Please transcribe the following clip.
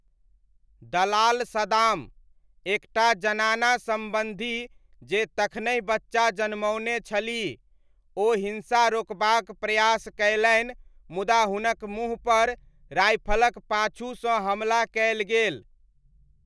दलाल सदाम, एक टा जनाना सम्बन्धी जे तखनहि बच्चा जनमओने छलीह, ओ हिन्सा रोकबाक प्रयास कयलनि मुदा हुनक मुँहपर राइफलक पाछूसँ हमला कयल गेल।